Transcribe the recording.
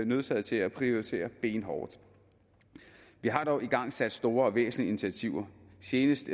nødsaget til at prioritere benhårdt vi har dog igangsat store og væsentlige initiativer senest